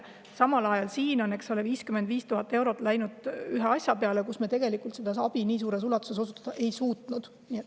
Samal ajal on siin 55 000 eurot läinud ühe asja peale, kus me seda abi väga suures ulatuses pakkuda ei ole suutnud.